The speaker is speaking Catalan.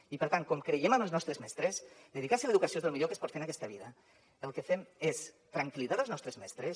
i per tant com que creiem en els nostres mestres dedicar se a l’educació és el millor que es pot fer en aquesta vida el que fem és tranquil·litzar els nostres mestres